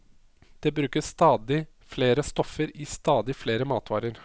Det brukes stadig flere stoffer i stadig flere matvarer.